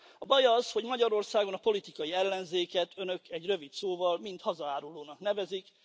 A baj az, hogy Magyarországon a politikai ellenzéket Önök egy rövid szóval hazaárulónak nevezik.